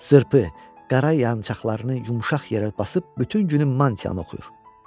Zırpı, qara yançaqlarını yumşaq yerə basıb bütün günü mantiyanı oxuyur.